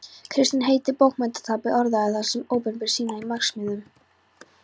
Kristinn heitinn bókmenntapáfi orðaði það um opinberun sína í marxismanum.